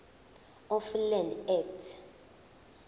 of land act